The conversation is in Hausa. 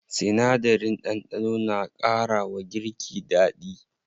Sinadarin ɗanɗano na ƙara wa girki daɗi.